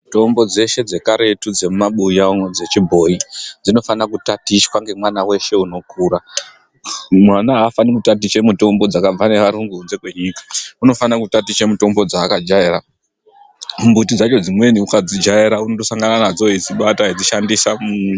Mitombo dzeshe dzekaretu dzemumabuya umo dzechibhoyi dzinofana kutatichwa ngemwana weshe unokura .Mwana aafani kutatiche dzakabva neayungu kunze kwenyika .Unofane kutatiche mitombo dzaakajaera. Mumbiti dzacho dzimweni ukaadzijaera unondosangana nadzo eidzibata eidzishandisa.